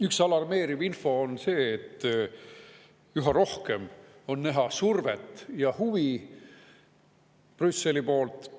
Üks alarmeeriv info on see, et üha rohkem on näha survet ja huvi Brüsselist.